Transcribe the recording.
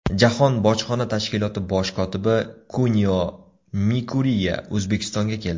Jahon bojxona tashkiloti bosh kotibi Kunio Mikuriya O‘zbekistonga keldi.